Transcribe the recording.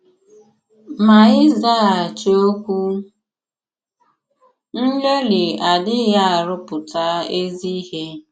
Ma ịzàghàchì òkwù nlèlì adìghị àrụ̀pụ̀tà èzì ìhè.